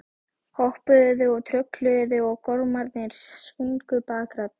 Hoppuðu og trölluðu og gormarnir sungu bakraddir.